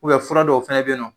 Ubɛ furadɔw fɛnɛ be yen nɔ